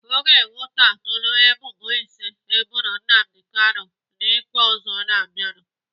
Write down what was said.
Aga ewetulata ebubo ise eboro Nnamdi Kanu n'ikpe ọzọ na-abịanụ.